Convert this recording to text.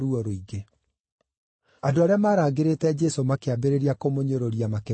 Andũ arĩa maarangĩrĩte Jesũ makĩambĩrĩria kũmũnyũrũria makĩmũhũũraga.